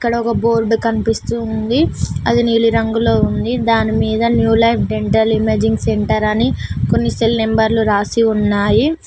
అక్కడ ఒక బోర్డు కనిపిస్తూ ఉంది అది నీలి రంగులో ఉంది దాని మీద new life dental imaging centre అని కొన్ని సెల్ నంబర్లు రాసి ఉన్నాయి